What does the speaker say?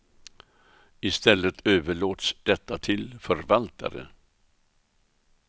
I stället överlåts detta till förvaltare.